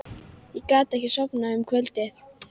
Ég gat ekki sofnað um kvöldið.